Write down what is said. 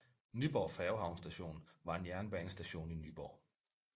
Nyborg Færgehavn Station var en jernbanestation i Nyborg